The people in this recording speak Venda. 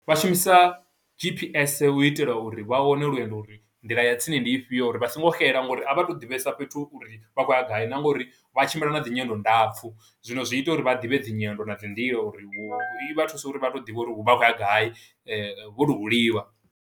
Vha shumisa G_P_S u itela uri vha wane lwendo uri, nḓila ya tsini ndi i fhio uri vha songo xela, ngo uri a vha tu ḓivhesa fhethu uri vha khou ya gai, na nga uri vha tshimbila na dzi nyendo ndapfu. Zwino zwi ita uri vha ḓivhe dzinyendo na dzi nḓila, uri hu, i vha thusa uri vha to ḓivha uri vha khou ya gai, vho no huliwa.